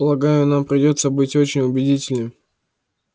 полагаю нам придётся быть очень убедительными